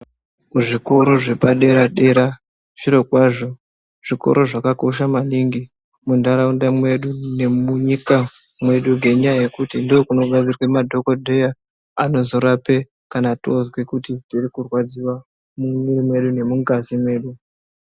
Zvikora zvepadera dera zvirokwazvo zvikora zvakakosha maningi muntaraunda mwedu nemunyika medu ngeanyaya ndokunobva madhokodheya anozorape kana takurwadziwa mumwiri medu nemungazi medu .